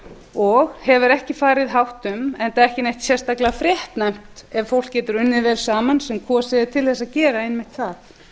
og hefur ekki farið hátt um enda ekki neitt sérstaklegt fréttnæmt ef fólk getur unnið vel saman sem kosið er til þess að gera einmitt það